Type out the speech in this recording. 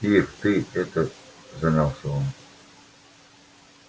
ир ты это замялся он